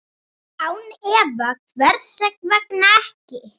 Án efa, hvers vegna ekki?